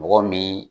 Mɔgɔ min